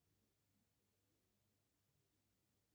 сколько банкоматов у сбербанка